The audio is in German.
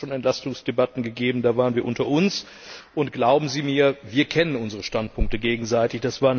Es hat hier schon Entlastungsdebatten gegeben, da waren wir unter uns. Und glauben Sie mir Wir kennen unsere Standpunkte gegenseitig.